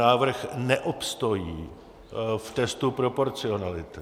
Návrh neobstojí v testu proporcionality.